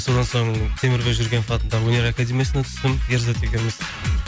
содан соң темірбек жүргенов атындағы өнер академиясына түстім ерзат екеуміз